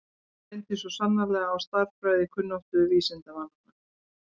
Nú reyndi svo sannarlega á stærðfræðikunnáttu vísindamannanna.